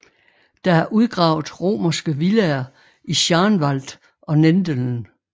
Der er udgravet romerske villaer i Schaanwald og Nendeln